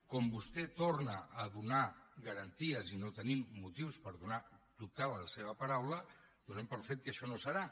com vostè en torna a donar garanties i no tenim motius per dubtar de la seva paraula donem per fet que això no serà